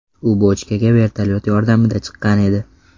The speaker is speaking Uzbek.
U bochkaga vertolyot yordamida chiqqan edi.